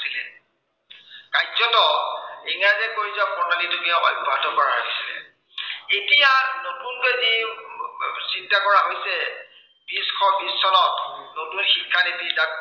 কাৰ্যতঃ ইংৰাজে কৰি যোৱা প্ৰণালীটোকে কৰা হৈছিলে, এতিয়া নতুনকৈ যি চিন্তা কৰা হৈছে, বিশ শ বিশ চনত, নতুন শিক্ষা নীতি